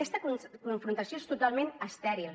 aquesta confrontació és totalment estèril